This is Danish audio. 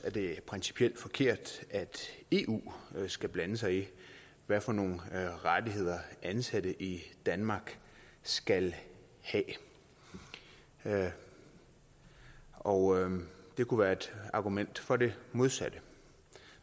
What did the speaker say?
at det er principielt forkert at eu skal blande sig i hvad for nogle rettigheder ansatte i danmark skal have og det kunne være et argument for det modsatte